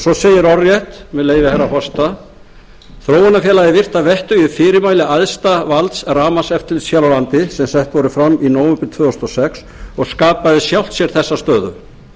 svo segir orðrétt með leyfi hæstvirts forseta þróunarfélagið virti að vettugi fyrirmæli æðsta valds rafmagnseftirlits hér á landi sem sett voru fram í nóvember tvö þúsund og sex og skapaði sjálft sér þessa stöðu